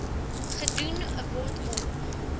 gedoen word om